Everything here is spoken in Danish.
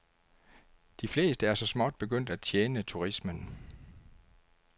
De fleste er så småt begyndt at tjene turismen.